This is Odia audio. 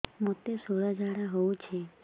ମୋତେ ଶୂଳା ଝାଡ଼ା ହଉଚି